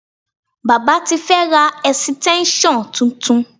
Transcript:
Baba ti fẹ́ ra ẹ̀sìtẹ́ńṣọ̀n titun